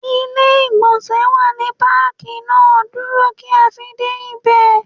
Ilé ìgbọ̀nsẹ̀ wà ní Pákì náà, dúró kí a fi dé ibẹ̀.